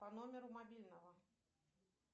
по номеру мобильного